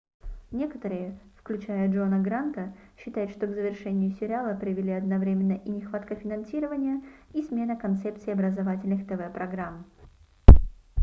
некоторые включая джона гранта считают что к завершению сериала привели одновременно и нехватка финансирования и смена концепции образовательных тв-программ